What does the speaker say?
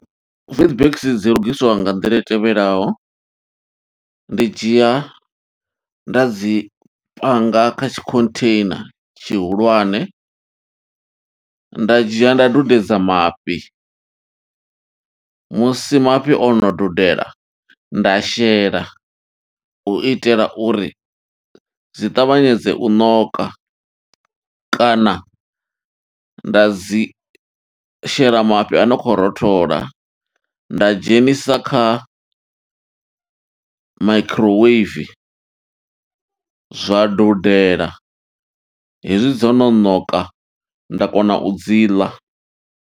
WheetBix, dzi lugiswa nga nḓila i tevhelaho, ndi dzhia nda dzi panga kha tshikhontheina tshihulwane, nda dzhia nda dudedza mafhi. Musi mafhi ono dudela, nda shela, u itela uri zwi ṱavhanyedze u ṋoka, kana nda dzi shela mafhi a no khou rothola, nda dzhenisa kha makhiroweivi, zwa dudela. Hezwi dzo no ṋoka, nda kona u dzi ḽa.